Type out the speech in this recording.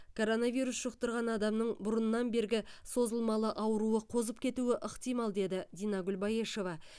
коронавирус жұқтырған адамның бұрыннан бергі созылмалы ауруы қозып кетуі ықтимал деді динагүл баешева